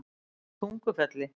Tungufelli